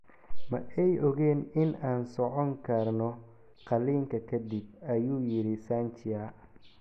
Ma ay ogayn in aan socon karno qalliinka ka dib, ayuu yiri Sanchia.